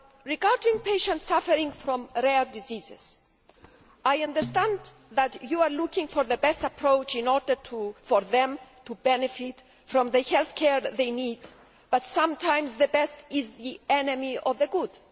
Regarding patients suffering from rare diseases, I understand that you are looking for the best approach in order for them to benefit from the health care they need, but sometimes the best is the enemy of the good.